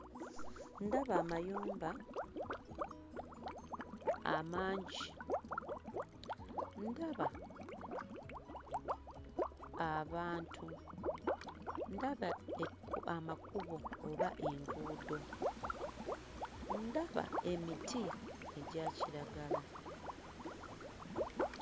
Ndaba amayumba amangi ndaba abantu ndaba ekku amakubo oba enguudo ndaba emiti egya kiragala.